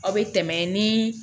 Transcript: Aw bɛ tɛmɛ ni